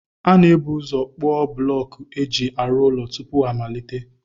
A na-ebu ụzọ kpụọ bụlọọkụ e ji arụ ụlọ tupu a malite